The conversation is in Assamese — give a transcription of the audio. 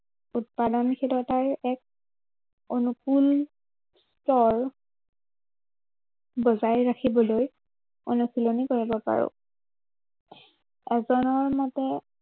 উৎপাদনশীলতাৰ এক, অনুকুল স্তৰ বজায় ৰাখিবলৈ, অনুশীলনী কৰিব পাৰো। অজনা মতে